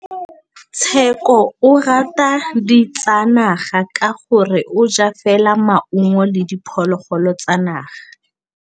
Tshekô o rata ditsanaga ka gore o ja fela maungo le diphologolo tsa naga.